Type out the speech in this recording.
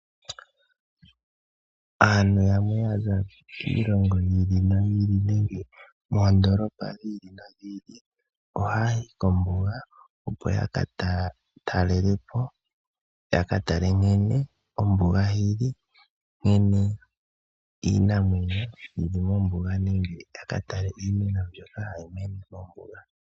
Aantu yamwe yaza kiilongo yili noyili nenge moondolopa dhili nodhili ohayayi kombunga opo yakatalelepo, yakatale nkene ombuga yili nkene iinamwenyo yili mombuga nenge yakatele iimeno mbyono hayi mene mombuga.